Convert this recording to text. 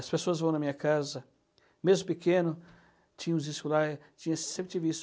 As pessoas vão na minha casa, mesmo pequeno, tinha uns discos lá, sempre tive isso.